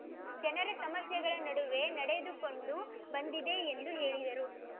ಜನರ ಸಮಸ್ಯೆಗಳ ನಡುವೆ ನಡೆದುಕೊಂಡು ಬಂದಿದೆ ಎಂದು ಹೇಳಿದರು